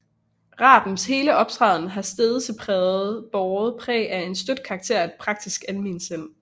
Rabens hele optræden har stedse båret præg af en støt karakter og et praktisk almensind